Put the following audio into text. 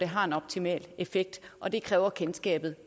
har en optimal effekt og det kræver kendskab